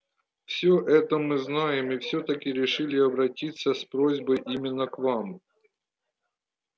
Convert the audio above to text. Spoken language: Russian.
всё это мы знаем и всё-таки решили обратиться с просьбой именно к вам